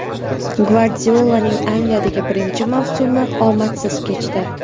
Gvardiolaning Angliyadagi birinchi mavsumi omadsiz kechdi.